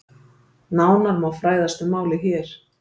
Nánar má fræðast um málið hér